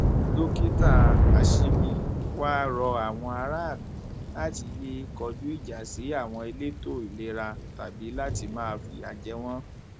dókítà ashimi wàá rọ àwọn aráàlú láti yéé kọjú ìjà sí àwọn elétò ìlera tàbí láti máa fìyà jẹ wọn